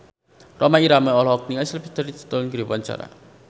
Rhoma Irama olohok ningali Sylvester Stallone keur diwawancara